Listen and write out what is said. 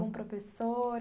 Algum professor?